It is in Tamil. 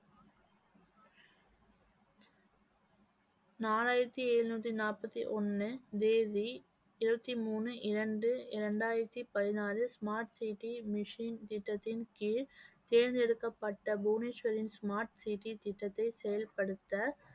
நாலாயிரத்தி எழுநூத்தி நாப்பத்தி ஒண்ணு, தேதி இருபத்தி மூணு இரண்டு இரண்டாயிரத்தி பதினாறு smart city machine திட்டத்தின் கீழ் தேர்ந்தெடுக்கப்பட்ட புவனேஸ்வரின் smart city திட்டத்தை செயல்படுத்த